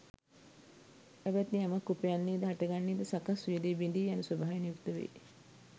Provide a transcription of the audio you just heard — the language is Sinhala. ඇවැත්නි යමක් උපන්නේ ද හටගත්තේ ද සකස් වූයේ ද එය බිඳී යන ස්වභාවයෙන් යුක්ත වෙයි